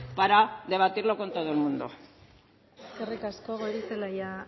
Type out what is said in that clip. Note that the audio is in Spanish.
para debatirlo con todo el mundo eskerrik asko goirizelaia